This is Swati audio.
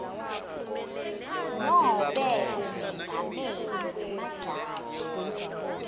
nobe umengameli wemajaji